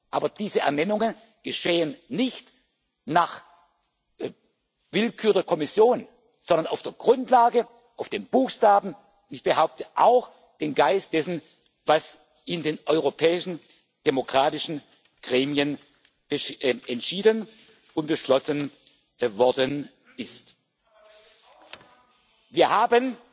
man ändern. Aber diese Ernennungen geschehen nicht nach Willkür der Kommission, sondern auf der Grundlage, nach den Buchstaben und auch im Geiste dessen, was in den europäischen demokratischen Gremien entschieden und beschlossen worden ist.